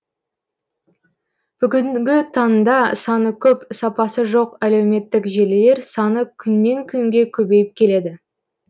бүгінгі таңда саны көп сапасы жоқ әлеуметтік желілер саны күннен күнге көбейіп келеді